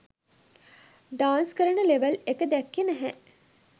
Dance කරන level එක දැක්කේ නැහැ.